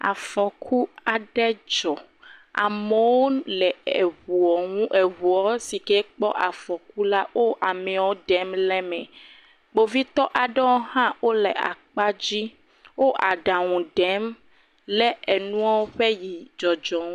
Afɔku aɖe dzɔ amewo le eŋuaŋu eŋua si ke kpɔ afɔkyu la, wo ameawo ɖem le eme, kpovitɔ aɖewo hã wole akpa dzi wo aɖaŋu ɖem le enua ƒe dzɔdzɔ ŋu.